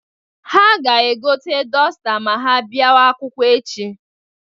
Ha ga-egote dọsta ma ha biawa akwụkwọ echi.